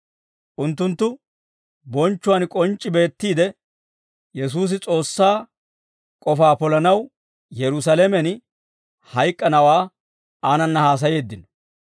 Unttunttu bonchchuwaan k'onc'c'i beettiide, Yesuusi S'oossaa k'ofaa polanaw Yerusaalamen hayk'k'anawaa aanana haasayeeddino.